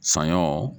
Saɲɔ